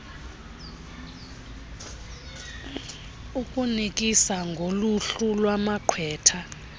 ukunikisa ngoluhlu lwamagqwetha